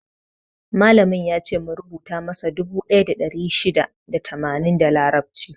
Malamin yace mu rubutu masa dubu ɗaya da ɗari shida da tamanin da larabci.